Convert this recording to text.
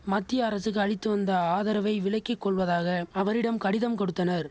மத்திய அரசுக்கு அளித்து வந்த ஆதரவை விலக்கி கொள்வதாக அவரிடம் கடிதம் கொடுத்தனர்